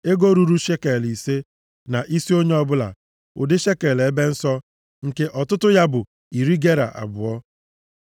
bụ ego ruru shekel ise, na isi onye ọbụla, ụdị shekel ebe nsọ, nke ọtụtụ ya bụ iri gera abụọ.